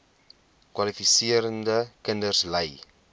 kwalifiserende kinders ly